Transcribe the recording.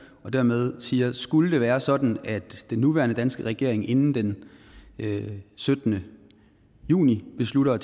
og dermed siger at skulle det være sådan at den nuværende danske regering inden den syttende juni beslutter